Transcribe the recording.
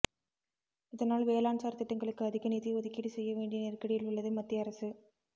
இதனால் வேளாண்சார் திட்டங்களுக்கு அதிக நிதி ஒதுக்கீடு செய்ய வேண்டிய நெருக்கடியில் உள்ளது மத்திய அரசு